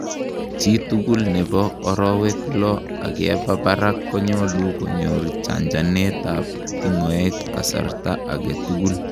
chitugul nebo arowek loo akeba barak konyalu konyor chanchanet ab tingoek kasarta agetugul